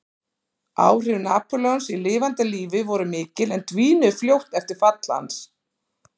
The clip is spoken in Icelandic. Áhrif Napóleons í lifanda lífi voru mikil en dvínuðu fljótt eftir fall hans.